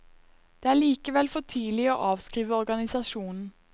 Det er likevel for tidlig å avskrive organisasjonen.